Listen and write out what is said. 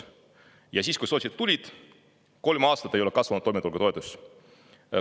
Ja siis, kui sotsid tulid, kolm aastat ei ole kasvanud toimetulekutoetus.